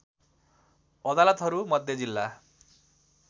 अदालतहरू मध्ये जिल्ला